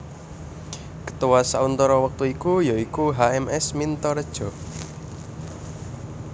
Ketua sauntara wektu iku ya iku H M S Mintaredja